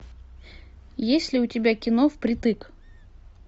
есть ли у тебя кино впритык